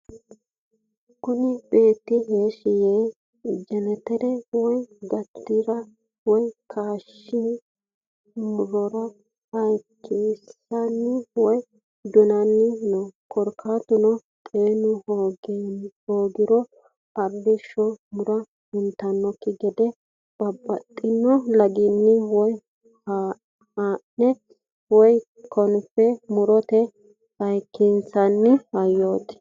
Kuni beetti heeshshi yee jeneteretenni waa gatira woy kayisinno murora hayikisanni woy dunanni no korkatuno xeenu hoogiro arrishsho muro huntakki gede babaxino laginni waa ha'ne woy konfe murote hayikkinsanni hayyot.